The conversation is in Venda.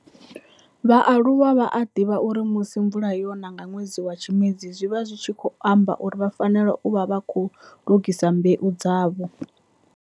vhaaluwa vha a divha uri musi mvula yona nga nwedzi wa Tshimedzi zwi vha zwi tshi khou amba uri vha fanela u vha vha khou lugisa mbeu dzavho.